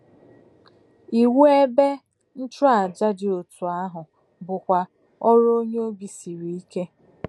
Iwu ebe nchụàjà dị otú ahụ bụkwa ọrụ onye obi siri ike.